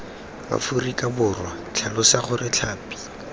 aforika borwa tlhalosa gore tlhapi